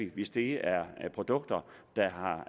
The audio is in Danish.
hvis det er produkter der